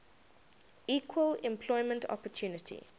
equal employment opportunity